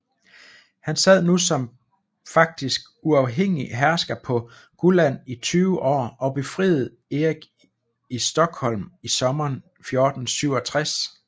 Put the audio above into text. Han sad nu som faktisk uafhængig hersker på Gulland i 20 år og befriede Erik i Stockholm i sommeren 1467